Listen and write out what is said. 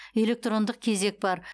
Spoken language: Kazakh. электрондық кезек бар